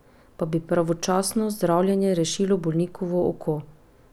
Pa bi pravočasno zdravljenje rešilo bolnikovo oko?